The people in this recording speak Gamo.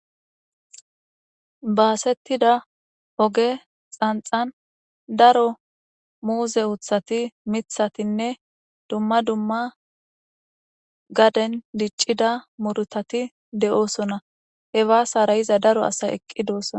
basettidda oge xanxan daro muuze uththati miththatinne dumma dumma gaden diccidda murttati de'oosona he baasara yiiza daro asay eqqi dossona